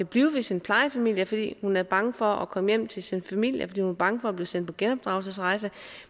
blive hos sin plejefamilie fordi hun er bange for at komme hjem til sin familie fordi hun er bange for at blive sendt på genopdragelsesrejse